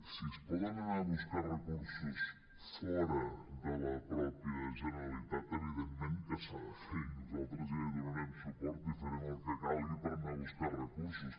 si es poden anar a buscar recursos fora de la mateixa generalitat evidentment que s’ha de ser i nosaltres ja hi donarem suport i farem el que calgui per anar a buscar recursos